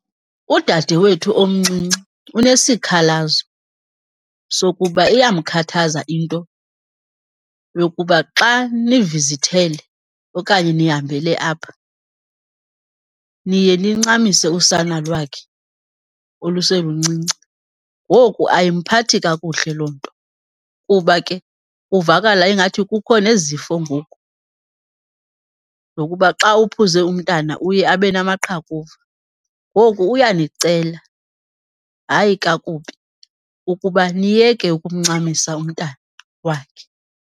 Udadewethu omncinci unesikhalazo sokuba iyamkhathaza into yokuba xa nivizithele okanye nihambele apha, niye nincamise usana lwakhe oluseluncinci. Ngoku ayimphathi kakuhle loo nto kuba ke kuvakala ingathi kukho nezifo ngoku zokuba xa uphuze umntwana uye abe namaqhakuva. Ngoku uyanicela, hayi kakubi, ukuba niyeke ukumncamisa umntana wakhe.